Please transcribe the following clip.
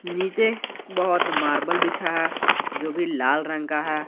नीचे बहुत मार्बल बिछा है जो भी लाल रंग का है।